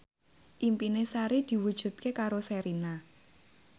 impine Sari diwujudke karo Sherina